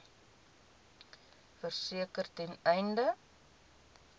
verseker ten einde